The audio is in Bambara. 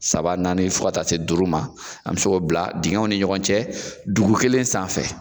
Saba naani fo ka taa se duuru ma, an se k'o bila dingɛw ni ɲɔgɔn cɛ dugu kelen sanfɛ.